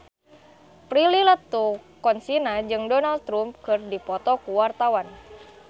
Prilly Latuconsina jeung Donald Trump keur dipoto ku wartawan